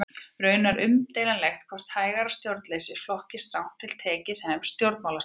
Raunar er umdeilanlegt hvort hægra stjórnleysi flokkist strangt til tekið sem stjórnmálastefna.